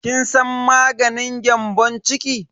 Kin san maganin gyambon ciki?